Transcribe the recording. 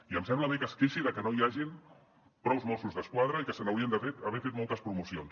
i em sembla bé que es queixi que no hi hagin prous mossos d’esquadra i que se n’haurien d’haver fet moltes promocions